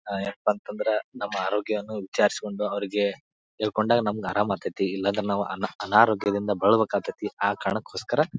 ಅ ಎನ್ಪಾಂತಂದ್ರೆ ನಮ್ಮ ಅರೋಗ್ಯನು ವಿಚಾರಿಸ್ಕೊಂಡು ಅವ್ರಿಗೆ ಹೇಳ್ಕೊಂಡಾಗ ನಮ್ ಆರಂ ಅಗ್ತತಿ ಇಲ್ಲಾಂದ್ರ ನಾವು ಅನಾ ಅನಾರೋಗ್ಯದಿಂದ ಬಳಲುಬೇಕಾಗ್ತಟಿ ಆ ಕಾರಣಕೋಸ್ಕರ --